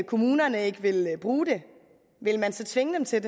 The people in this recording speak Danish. kommunerne ikke vil bruge det vil man så tvinge dem til